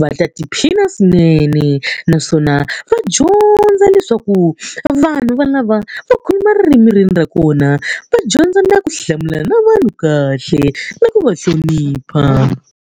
va ta tiphina swinene. Naswona va dyondza leswaku vanhu valava va khoma ririmi rin'we ra kona va dyondza na ku hlamulana na vanhu kahle na ku va hlonipha.